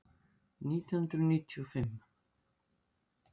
Nítján hundruð níutíu og fimm